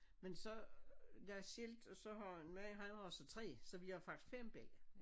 Men så jeg er skilt og så har min man han har så 3 så vi har faktisk 5 bella